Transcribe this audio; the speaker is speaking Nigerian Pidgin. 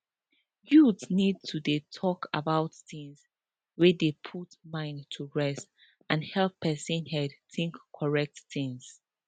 youths need to dey talk about things wey dey put mind to rest and help person head think correct things